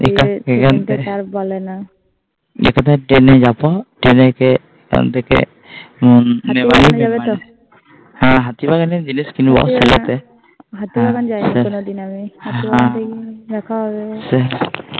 হু এখন থেকে মেমারি, মেমারি থেকে হাতিবাগান যাবে তো হু হাতিবাগান জিনিস কিনবো সেলেতে হাতিবাগান যায়নি কোনোদিন টিং টিং হাতিবাগান দেখা হবে